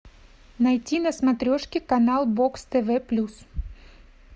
найти на смотрешке канал бокс тв плюс